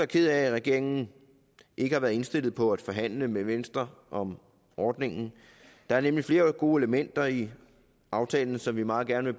ked af at regeringen ikke har været indstillet på at forhandle med venstre om ordningen der er nemlig flere gode elementer i aftalen som vi meget gerne